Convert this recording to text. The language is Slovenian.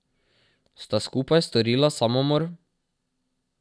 Sta skupaj storila samomor?